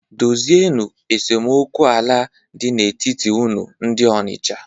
Dozienu esemokwu ala dị n'etiti unu ndị Ọnịcha!